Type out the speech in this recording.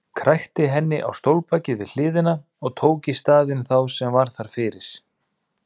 Krækti henni á stólbakið við hliðina og tók í staðinn þá sem var þar fyrir.